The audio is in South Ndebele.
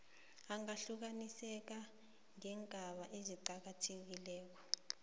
angahlukaniseka ngeengaba eziqakathekileko